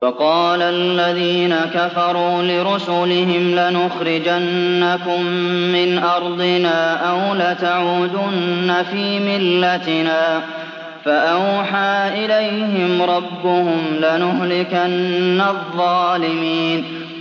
وَقَالَ الَّذِينَ كَفَرُوا لِرُسُلِهِمْ لَنُخْرِجَنَّكُم مِّنْ أَرْضِنَا أَوْ لَتَعُودُنَّ فِي مِلَّتِنَا ۖ فَأَوْحَىٰ إِلَيْهِمْ رَبُّهُمْ لَنُهْلِكَنَّ الظَّالِمِينَ